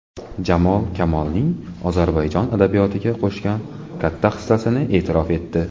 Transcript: Jamol Kamolning Ozarbayjon adabiyotiga qo‘shgan katta hissasini e’tirof etdi.